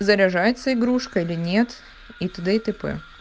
заряжается игрушка или нет и т д и тп